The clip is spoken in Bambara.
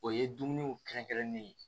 O ye dumuniw kɛrɛnkɛrɛnnen ye